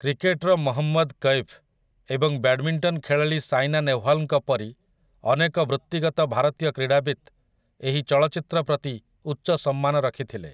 Cricketer Mohammad Kaif ଏବଂ badminton ଖେଳାଳି ସାଇନା ନେହ୍ୱାଲ୍‌ଙ୍କ ପରି ଅନେକ ବୃତ୍ତିଗତ ଭାରତୀୟ କ୍ରୀଡ଼ାବିତ୍ ଏହି ଚଳଚ୍ଚିତ୍ର ପ୍ରତି ଉଚ୍ଚ ସମ୍ମାନ ରଖିଥିଲେ ।